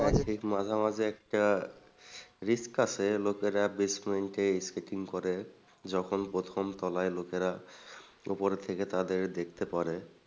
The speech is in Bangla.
হ্যাঁ ঠিক মাঝামাঝি একটা risk আছে লোকেরা basement এ skating করে যখন প্রথম তলায় লোকেরা উপর থেকে তাদের দেখতে পারে।